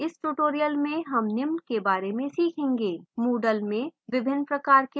इस tutorial में निम्न के बारे में सीखेंगे: moodle में विभिन्न प्रकार के forums